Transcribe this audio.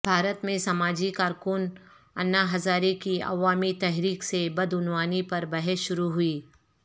بھارت میں سماجی کارکن انا ہزارے کی عوامی تحریک سے بدعنوانی پر بحث شروع ہوئی